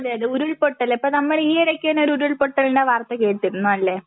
അതെ അതെ ഉരുൾപൊട്ടല് ഇപ്പൊ നമ്മള് ഈയിടയ്ക്ക് തന്നെ ഒരു ഉരുൾപൊട്ടലിൻ്റെ വാർത്ത കേട്ടിരുന്നു അല്ലേ?